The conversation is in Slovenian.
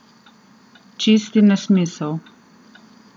Čisti nesmisel!